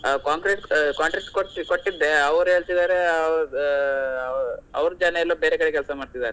ಹಾ concrete ಹಾ contract ಕೊಟ್ಟಿ~ ಕೊಟ್ಟಿದ್ದೆ ಅವರ ಹೇಳ್ತಿದಾರೆ ಅವರ ಜನ ಎಲ್ಲೋ ಬೇರೆ ಕಡೆ ಕೆಲಸ ಮಾಡ್ತಿದಾರಂತೆ.